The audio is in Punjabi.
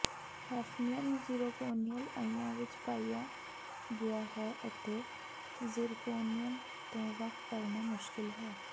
ਹੈਫਨੀਅਮ ਜ਼ੀਰੋਕੋਨਿਅਲ ਆਇਆਂ ਵਿੱਚ ਪਾਇਆ ਗਿਆ ਹੈ ਅਤੇ ਜ਼ੀਰਕੋਨਿਅਮ ਤੋਂ ਵੱਖ ਕਰਨਾ ਮੁਸ਼ਕਿਲ ਹੈ